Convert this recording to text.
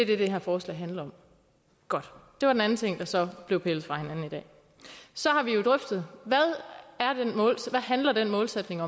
det her forslag handler om godt det var den anden ting der så blev pillet fra hinanden i dag så har vi jo drøftet hvad den målsætning